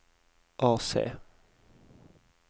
AC